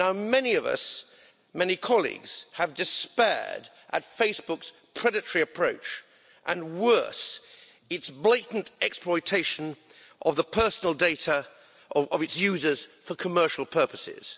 Many of us, many colleagues, have despaired at Facebook's predatory approach and worse, its blatant exploitation of the personal data of its users for commercial purposes.